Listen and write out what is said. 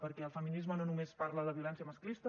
perquè el feminisme no només parla de violència masclista